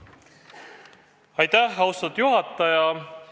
Aitäh, austatud juhataja!